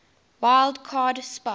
wild card spot